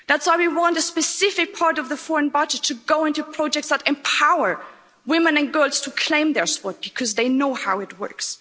That's why we want a specific part of the foreign budget to go into projects that empower women and girls to claim their spot because they know how it works.